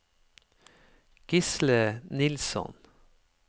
Gisle Nilsson